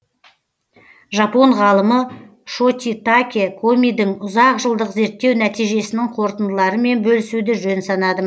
жапон ғалымы шотитаке комидің ұзақ жылдық зерттеу нәтижесінің қорытындыларымен бөлісуді жөн санадым